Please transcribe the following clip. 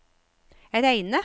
Reine